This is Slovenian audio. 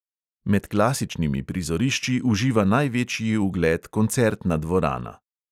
Med klasičnimi prizorišči uživa največji ugled koncertna dvorana.